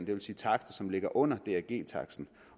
det vil sige takster som ligger under drg taksten